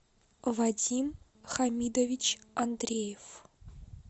вадим хамидович андреев